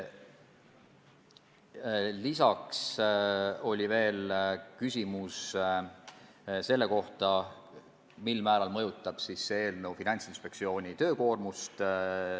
Lisaks oli küsimus selle kohta, mil määral mõjutab seaduse muutmine Finantsinspektsiooni töökoormust.